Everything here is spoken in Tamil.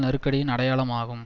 நெருக்கடியின் அடையாளம் ஆகும்